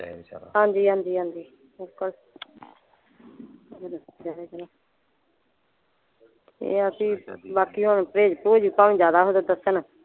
ਰਹੇ ਵਿਚਾਰਾ ਹਾਂਜੀ ਹਾਂਜੀ ਹਾਂਜੀ ਇਹ ਆ ਬੀ ਬਾਕੀ ਹੁਣ ਪ੍ਰਹੇਜ ਪ੍ਰਹੁਜ ਭਾਵੇਂ ਜਿਆਦਾ ਹੋਵੇ ਤਾਂ ਦੱਸਣ।